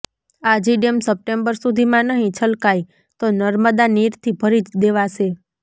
Aji dam September સુધીમાં નહીં છલકાય તો નર્મદા નીરથી ભરી દેવાશે